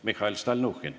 Mihhail Stalnuhhin.